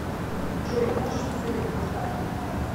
джой можешь посоветовать бар